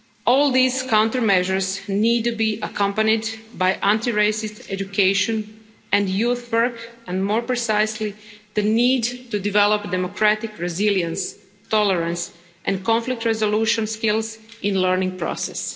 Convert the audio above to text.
All these countermeasures need to be accompanied by anti racist education and youth work and, more precisely, the need to develop democratic resilience, tolerance and conflict resolution skills in the learning process.